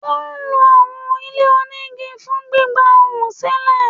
Wọ́n lo àwọn ilé-onígi fún gbígba ohun sílẹ̀.